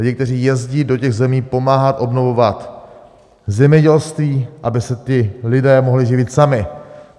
Lidi, kteří jezdí do těch zemí pomáhat obnovovat zemědělství, aby se ti lidé mohli živit sami.